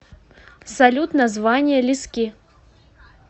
салют название лиски